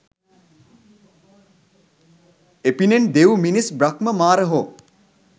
එපිනෙන් දෙව්, මිනිස් බ්‍රහ්ම මාර හෝ